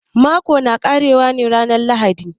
Mako na ƙare wa ne ranan lahadi.